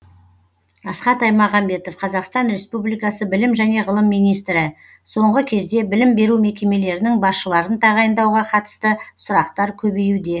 асхат аймағамбетов қазақстан республикасы білім және ғылым министрі соңғы кезде білім беру мекемелерінің басшыларын тағайындауға қатысты сұрақтар көбеюде